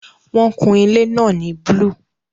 Wọn kun ilé náà ní búlúù